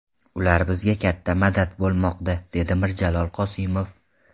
Ular bizga katta madad bo‘lmoqda”, dedi Mirjalol Qosimov.